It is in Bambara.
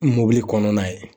Mobili kɔnɔna ye